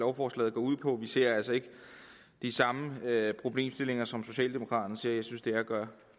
lovforslaget går ud på men vi ser altså ikke de samme problemstillinger som socialdemokraterne ser jeg synes det er at gøre